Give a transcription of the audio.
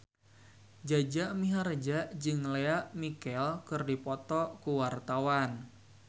Jaja Mihardja jeung Lea Michele keur dipoto ku wartawan